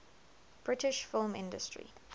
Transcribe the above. british film industry